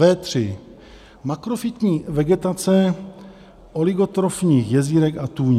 V3 Makrofytní vegetace oligotrofních jezírek a tůní.